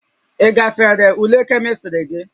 Ị gafere ule Kemịstrị gị?